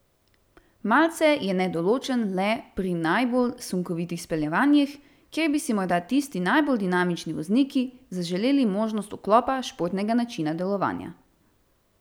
Malce je nedoločen le pri najbolj sunkovitih speljevanjih, kjer bi si morda tisti najbolj dinamični vozniki zaželeli možnost vklopa športnega načina delovanja.